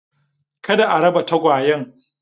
Kada a raba tagawyen.